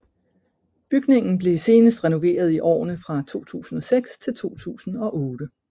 Bygningen blev senest renoveret i årene fra 2006 til 2008